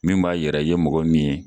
Min b'a yira i ye mɔgɔ min ye.